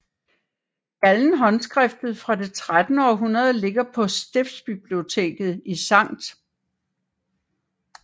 Gallen håndskriftet fra det 13 århundrede ligger på stiftsbiblioteket i Skt